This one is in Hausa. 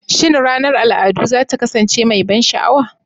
Shin ranar al'adu za ta kasance mai ban sha'awa?